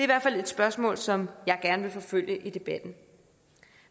hvert fald et spørgsmål som jeg gerne vil forfølge i debatten